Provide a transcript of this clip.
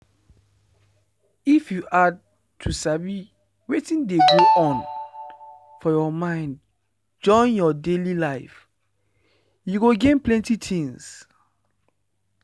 if you add to sabi wetin dey go on for your mind join your daily life you go gain plenty things.